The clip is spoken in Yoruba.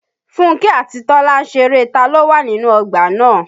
Fúnkẹ́ àti Tọ́lá ń ṣeré ta ló wà nínú ọgbà náà